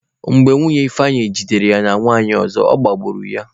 Mgbe Nwunye Ifeanyi jidere ya na nwanyị ọzọ, ọ gbagbuo ya.